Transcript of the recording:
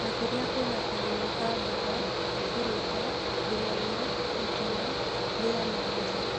Makĩria kwĩna kagunyo ka mboga, iburuta, ding'oing'o, itono, mbĩa na mbũca,